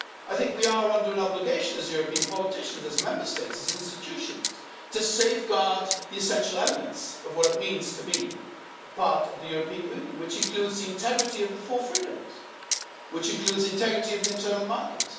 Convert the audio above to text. I think we are under an obligation as European politicians, as Member States, as institutions to safeguard the essential elements of what it means to be part of the European Union, which includes the integrity of the four freedoms, which includes the integrity of the internal market.